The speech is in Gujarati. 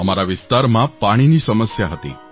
અમારા વિસ્તારમાં પાણીની સમસ્યા હતી